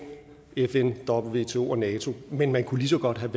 fn wto og nato men man kunne lige så godt have